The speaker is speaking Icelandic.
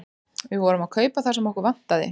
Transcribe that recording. Við vorum að kaupa það sem okkur vantaði.